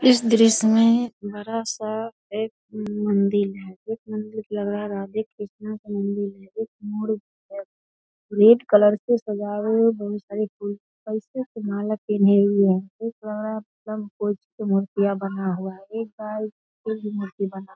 इस दृश्य में बड़ा-सा एक मंदिल है एक मंदिर लग रहा है राधे-कृष्णा का मंदिर है एक मोर है रेड कलर से सजा हुआ बहुत सारी माला पहना हुआ है कई मूर्ति भी बना हुआ है।